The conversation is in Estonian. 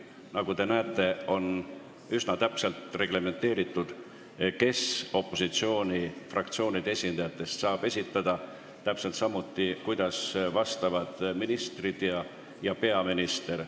Nagu te näete, on üsna täpselt reglementeeritud, kes opositsioonifraktsioonide esindajatest saab küsimuse esitada, täpselt samuti, kuidas vastavad ministrid ja peaminister.